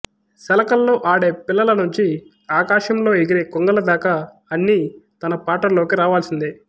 సెలకల్లో ఆడే పిల్లల నుంచి ఆకాశంలో ఎగిరే కొంగల దాకా అన్నీ తన పాటల్లోకి రావాల్సిందే